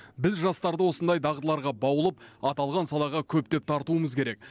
біз жастарды осындай дағдыларға баулып аталған салаға көптеп тартуымыз керек